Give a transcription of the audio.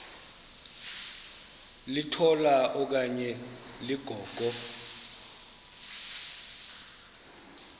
litola okanye ligogo